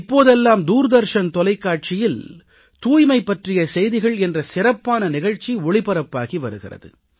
இப்போதெல்லாம் தூர்தர்ஷன் தொலைக்காட்சியில் தூய்மை பற்றிய செய்திகள் என்ற சிறப்பான நிகழ்ச்சி ஒளிபரப்பாகி வருகிறது